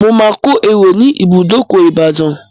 Mo máa ko ẹ̀rò ní ibùdókò Ìbàdàn.